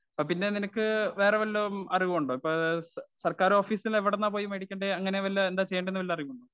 Speaker 1 അപ്പ പിന്നെ നിനക്ക് വേറെ വല്ലവും അറിവുമുണ്ടോ? ഇപ്പ സ സർക്കാരോഫീസിൽ എവിടുന്നാണ് പോയി മേടിക്കണ്ടേ. അങ്ങനെ വല്ല അറിവുമുണ്ടോ?